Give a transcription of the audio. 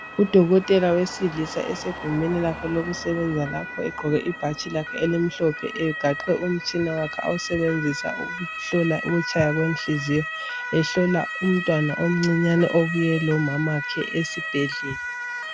Udokotela wesilisa osegumeni lakhe lokusebenza lapho egqoke ibhatshi lakhe elimhlophe egaxe umtshina wakhe awusebenzisa ukuhlola ukutshaya kwenhliziyo, ehlola umntwana omncinyane obuye lomama wakhe esibhedlela.